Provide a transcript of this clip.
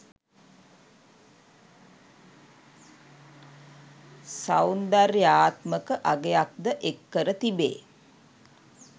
සෞන්දර්යාත්මක අගයක්ද එක් කර තිබේ.